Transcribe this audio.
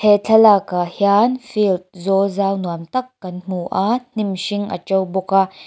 he thlalak ah hian field zawlzau nuamtak kan hmu a hnim hring a to bawk a--